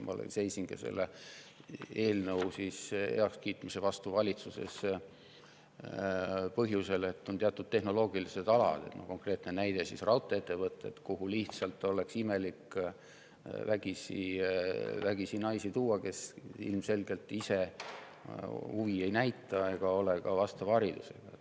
Ma seisingi selle eelnõu heakskiitmise vastu valitsuses sel põhjusel, et on teatud tehnoloogilised alad – konkreetne näide: raudtee-ettevõtted –, kuhu lihtsalt oleks imelik vägisi tuua naisi, kes ilmselgelt ise huvi üles ei näita ega ole ka vastava haridusega.